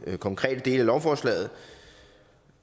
konkrete dele af lovforslaget